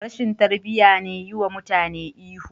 Rashin tarbiya ne yiwa mutane ihu..